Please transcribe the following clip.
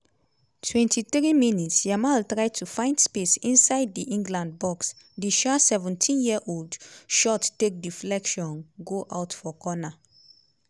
23 mins - yamal try to find space inside di england box di um 17-year-old shot take deflection go out for corner.